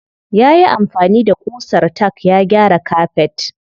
Yayi amfani da ƙusar tack ya gyara kafet.